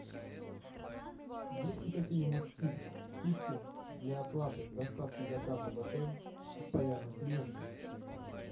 есть ли какие нибудь скидки для оплаты доставки заказа в отель постоянным клиентам